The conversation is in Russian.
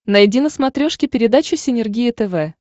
найди на смотрешке передачу синергия тв